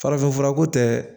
Farafin furako tɛ